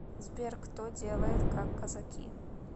сбер кто делает как казаки